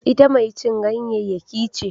Ita mai cin ganyayyaki ce